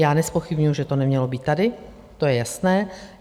Já nezpochybňuji, že to nemělo být tady, to je jasné.